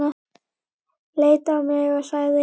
Leit á mig og sagði